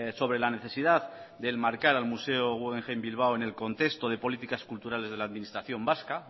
sobre la necesidad de enmarcar al museo guggenheim bilbao en el contexto de políticas culturales de la administración vasca